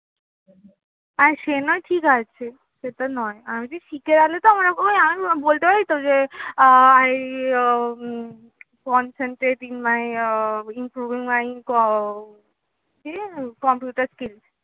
আর সে না ঠিক আছে এটা নয় বলতে পারি তো যে I concentrating my আহ improving my আহ কি computer skills